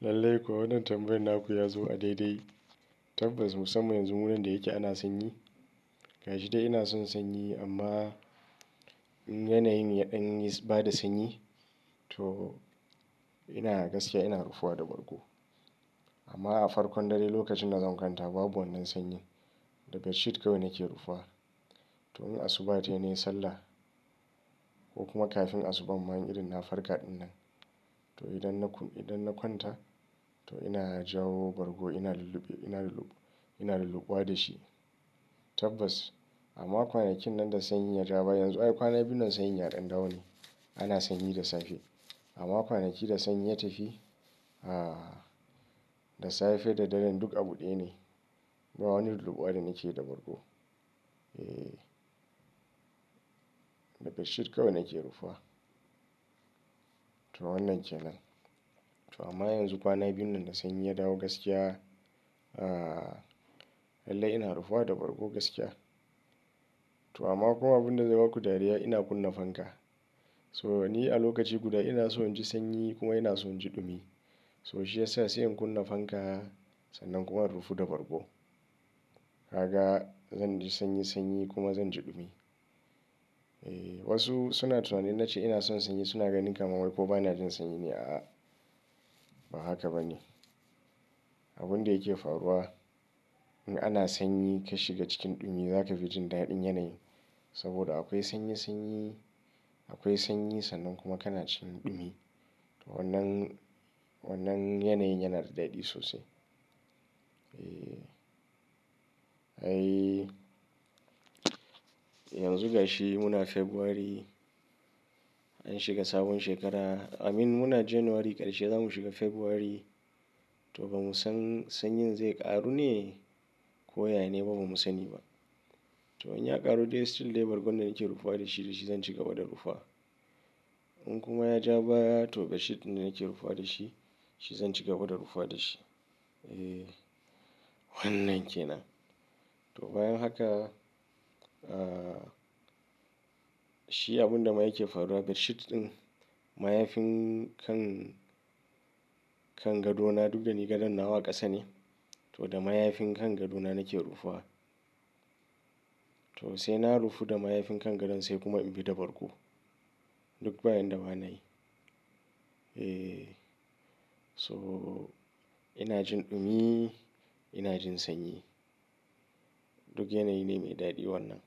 Lallai kuwa wannan tambayar naku ya zo a daidai. Tabbas musamman yanzu wurin da yake ana sanyi. Gashi dai ina son sanyi amma yanayin ya ɗan bada sanyi to ina gaskiya ina rufuwa da bargo. Amma a farkon dare lokacin da zan kwanta babu wannan sanyi. Da bedsheet kawai nake rufuwa. To in asuba tayi ne sallah ko kuma kafin asubar ma in irin na farka ɗinnan. To idan na kwanta to ina jawo bargo ina lulluɓuwa da shi. Tabbas amma kwanakin nan da sanyi ya ja baya yanzu ai kwana biyun nan sanyi ya ɗan dawo ne. Ana sanyi da safe. Amma kwanaki da sanyi ya tafi, aah, da safe da daren duk abu ɗaya ne. Ba wani lullubawa da nake da bargo. Eee. Da bedsheet kawai nake rufuwa. To wannan kenan. To amma yanzu kwana biyun nan da sanyi ya dawo gaskiya. Aah, lallai ina rufuwa da bargo gaskiya. To amma kuma abin da zai baku dariya ina kunna fanka. So ni a lokaci guda ina so in ji sanyi kuma ina son ji ɗumi. So shi yasa sai in kunna fanka sannan kuma in rufu da bargo. Gaka zan ji sanyi sanyi kuma zan ji dumi. Eeh, wasu suna tunanin na ce ina son sanyi suna ganin kamar wai ko bana jin sanyi ne a'a. Ba haka ba ne. Abin da yake faruwa in ana sanyi ka shiga cikin ɗumi za ka fi jin daɗin yanayin. Saboda akwai sanyi sanyi akwai sanyi sannan kuma kana jin ɗumi. Wannan yanayi yana da daɗi sosai. Eeh. Ai, yanzu gashi muna February. An shiga sabon shekara. Amin muna January ƙarshe za mu shiga February. To ba mu san sanyi zai ƙaru ne ko ya nene ba mu sani ba. To in ya ƙaru dai still dai bargo ne nake rufuwa da shi da shi zan cigaba da rufuwa. In kuma ya ja baya to bedsheet ne nake rufuwa da shi shi zan cigaba da rufuwa da shi. Eeh, wannan kenan. To bayan haka, aah, shi abun da ma yake faruwa be dsheet ɗin mayafin kan kan gadona duk gani gadon nawa ƙasa ne. To da mayafin kan gadona nake rufuwa. To sai na rufu da mayafin kan gadon sai kuma in bi da bargo. Duk bayan da bana yi. Eeh. So ina jin ɗumi ina jin sanyi. Duk yanayi ne mai daɗi wannan.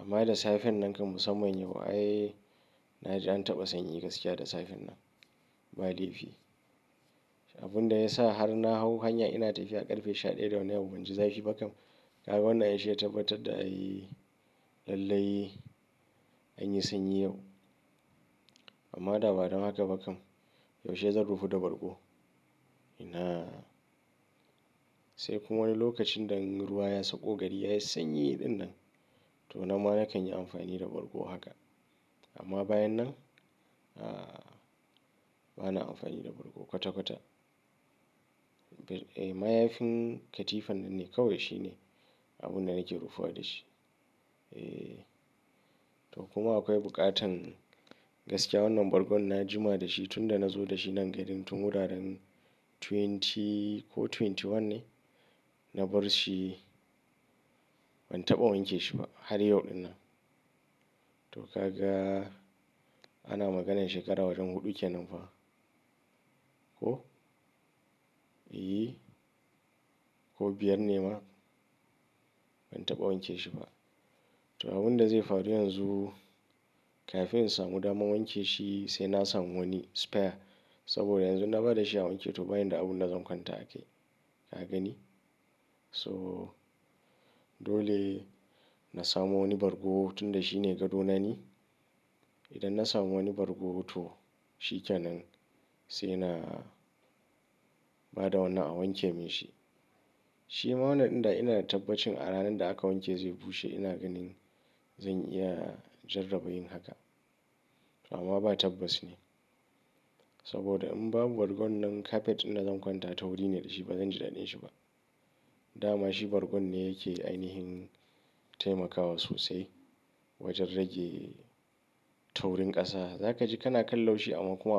Amma da safen nan kam musamman yau ai na ji an taɓa sanyi gaskiya da safen nan. Ba laifi. Abin da ya sa har na hau hanya ina tafiya a ƙarfe sha daya da wani yau ban ji zafi ba kam. Ga wannan yashi ya tabbatar da a yi lallai anyi sanyi yau. Amma da ba don haka ba kam. Yaushe zan rufu da bargo? Ina. Sai kuma wani lokacin idan ruwa ya sauko gari yayi sanyi ɗinnan to nan ma na kan yi amfani da bargo haka. Amma bayan nan aah bana amfani da bargo kwata kwata. Mayafin katifan nan ne kawai shine abun da nake rufuwa da shi. Eeh. To kuma akwai buƙatan gaskiya wannan bargon na jima da shi tun da na zo da shi nan gari tun wuraren twenty ko twenty one ne na bar shi ban taɓa wanke shi ba har yau ɗin nan. To kaga ana maganan shekara wajen huɗu kenan fa. Ko? Eeh. Ko biyar ne ma ban taɓa wanke shi ba. To abin da zai faru yanzu kafin in samu dama wanke shi sai na samu wani spare. Saboda yanzu na bada shi a wanke to bayan da abun da zan kwanta akai. Ka gani? So dole na samu wani bargo tun da shi ne gadona ni. Idan na samu wani bargo to shi kenan sai na bada wannan a wanke min shi. Shi ma wannan ɗin dai ina da tabbacin a ranar da aka wanke zai bushe ina ganin zan iya jarraba yin haka. To amma ba tabbas ne. Saboda in babu bargon nan kafet ina zan kwanta taurine da shi bazan ji daɗin shi ba. Dama shi bargon ne yake ainihin taimakawa sosai wajen rage taurin ƙasa. Za ka ji kana kallo shi amma kuma.